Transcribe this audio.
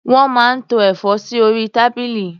Wọ́n máa ń tó ẹ̀fọ́ sí orí tábìlì.